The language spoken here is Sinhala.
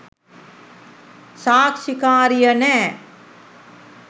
සාක්ෂිකාරිය නෑ